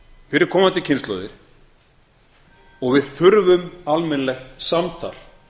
fyrir komandi kynslóðir og við þurfum almennilegt samtal